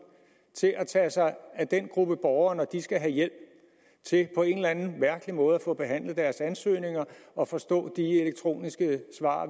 til at tage sig af den gruppe borgere når de skal have hjælp til på en eller anden mærkelig måde at få behandlet deres ansøgninger og forstå de elektroniske svar